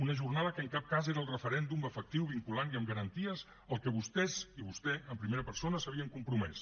una jornada que en cap cas era el referèndum efectiu vinculant i amb garanties al que vostès i vostè en primera persona s’havien compromès